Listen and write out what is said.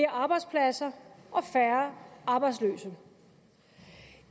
arbejdspladser og færre arbejdsløse